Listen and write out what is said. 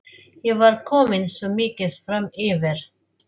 Ég var komin svo mikið framyfir.